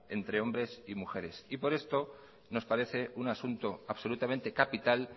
entre hombres y mujeres y por esto nos parece un asunto absolutamente capital